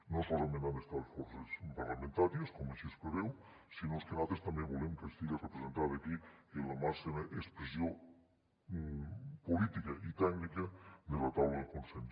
no solament hi han d’estar les forces parlamentàries com així es preveu sinó que nosaltres també volem que estiga representada aquí la màxima expressió política i tècnica de la taula de consens